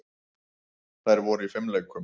Þær voru í fimleikum.